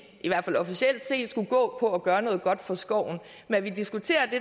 i hvert fald officielt skulle gå på at gøre noget godt for skovene men vi diskuterer det